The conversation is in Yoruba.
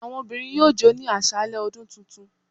Awọn ọmọbirin yọọ jò ni aṣalẹ ọdún túntún